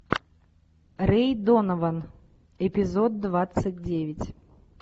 рэй донован эпизод двадцать девять